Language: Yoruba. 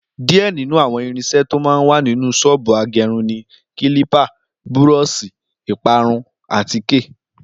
Díẹ̀ nínú àwọn irinṣẹ́ tó máa ń wà nínú ṣọ́ọ̀bù agẹrun ni kílípà, búrọ́ọ̀ṣì, ìpara irun, àtíkè